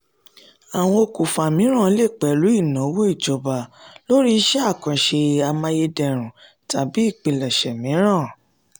àwọn okùnfà mìíràn le pẹ̀lú ìnáwó ìjọba lórí iṣẹ́ àkànṣe amáyédẹrùn tàbí ìpilẹ̀ṣẹ̀ mìíràn.